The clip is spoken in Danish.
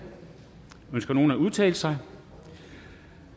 ønsker nogen at udtale sig